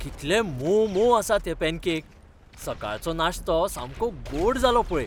कितले मोवमोव आसात हे पॅनकेक! सकाळचो नाश्तो सामको गोड जालो पळय!